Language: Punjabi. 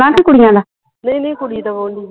ਨਹੀਂ ਨਹੀਂ ਕੁੜੀ ਦਾ ਵੌਹਣ ਦੀ ਹੀ ਨਿੱਕੀ ਦਾ